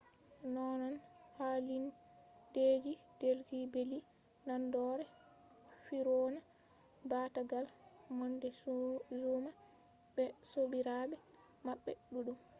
nonnon hallindeji delhi belly naadore fir'auna baatagal montezuma be sobirabe mabbe duddum